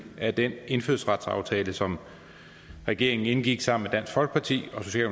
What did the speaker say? af den indfødsretsaftale som regeringen indgik sammen med dansk folkeparti